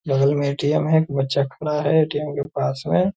बगल में ए.टी.एम. है एक बच्चा खड़ा है ए.टी.एम. के पास में ।